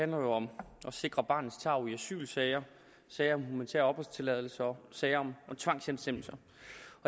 om at sikre barnets tarv i asylsager sager om humanitær opholdstilladelse og sager om tvangshjemsendelse